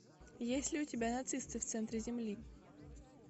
есть ли у тебя нацисты в центре земли